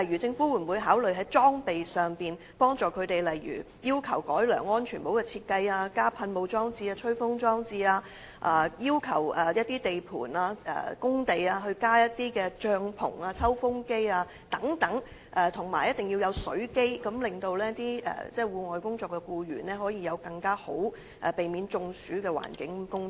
政府會否考慮在裝備方面提供協助，例如要求改良安全帽的設計、加設水霧系統或吹風裝置、要求地盤加設帳篷或抽風機，以及規定設置飲水機，好讓在戶外工作的僱員可以在更能避免中暑的環境工作？